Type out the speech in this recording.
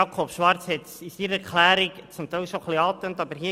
Jakob Schwarz hat es in seiner Erklärung zum Teil angetönt.